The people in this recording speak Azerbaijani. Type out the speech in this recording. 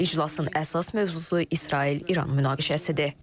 İclasın əsas mövzusu İsrail-İran münaqişəsidir.